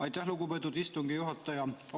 Aitäh, lugupeetud istungi juhataja!